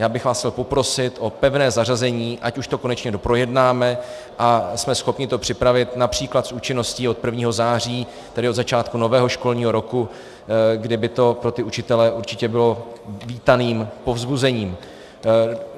Já bych vás chtěl poprosit o pevné zařazení, ať už to konečně doprojednáme a jsme schopni to připravit například s účinností od 1. září, tedy od začátku nového školního roku, kdy by to pro ty učitele určitě bylo vítaným povzbuzením.